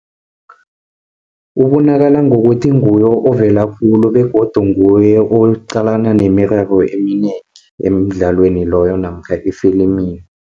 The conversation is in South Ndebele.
Ubonakala ngokuthi nguye ovela khulu begodu nguye oqalana nemiraro eminengi emdlalweni loyo namkha efilimini.